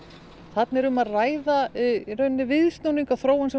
þarna er um að ræða viðsnúning á þróun sem